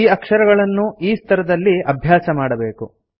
ಈ ಅಕ್ಷರಗಳನ್ನು ಈ ಸ್ತರದಲ್ಲಿ ಅಭ್ಯಾಸಮಾಡಬೇಕು